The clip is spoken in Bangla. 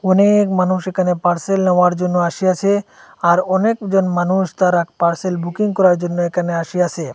অনেক মানুষ এখানে পার্সেল নেওয়ার জন্য আসিয়াছে আর অনেকজন মানুষ তারা পার্সেল বুকিং করার জন্য এখানে আসিয়াছে।